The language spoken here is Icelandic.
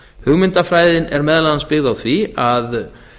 hugmyndafræðin er meðal annars byggð á því að